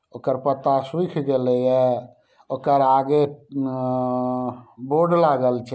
ओकर पत्ता सुऐख गेले ये। ओकर आगे अ बोर्ड लागल छै।